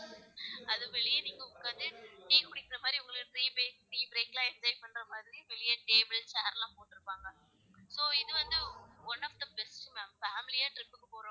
அது வெளியே நீங்க உக்காந்து டீ குடிக்கிற மாரி உங்களுக்கு டீ break லாம் enjoy பண்ற மாதிரி அங்கேயே table chair லாம் போட்டு இருப்பாங்க, so இது வந்து one of the best ma'am family யா trip போறவுங்க